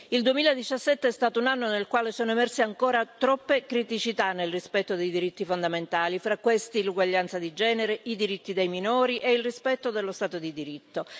Il 2017 è stato un anno nel quale sono emerse ancora troppe criticità, nel rispetto dei diritti fondamentali, fra questi, l'uguaglianza di genere, i diritti dei minori e il rispetto dello Stato di diritto.